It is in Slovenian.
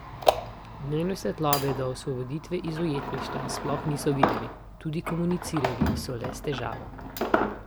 Dnevne svetlobe do osvoboditve iz ujetništva sploh niso videli, tudi komunicirali so le s težavo.